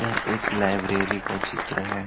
यह एक लाइब्रेरी का चित्र है।